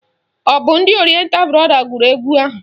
Ọ bụ ndị Orienta brọda gụrụ egwu ahụ?